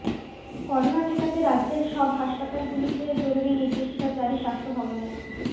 corona ঠেকাতে রাজ্যের সব হাসপাতালগুলিতে জরুরি নির্দেশিকা জারি স্বাস্থ্য ভবনের